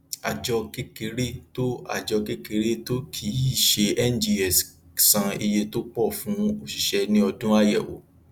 àjọ kékeré tó àjọ kékeré tó kìí ṣe ngs san iye tó pọ fún òṣìṣẹ ní ọdún ayẹwò